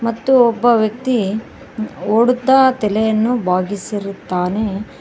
ಮತ್ತು ಒಬ್ಬ ವ್ಯಕ್ತಿ ಓಡುತ್ತಾ ತಲೆಯನ್ನು ಬಾಗಿಸಿರುತ್ತಾನೆ.